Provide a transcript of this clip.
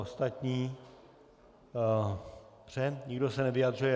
Ostatní - dobře, nikdo se nevyjadřuje.